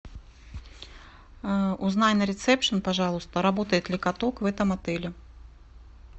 узнай на ресепшен пожалуйста работает ли каток в этом отеле